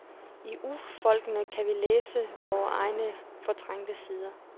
I urfolkene kan vi læse vore egne fortrængte sider.